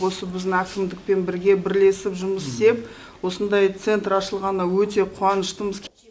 осы біздің әкімдікпен бірге бірлесіп жұмыс істеп осындай центр ашылғанына өте қуаныштымыз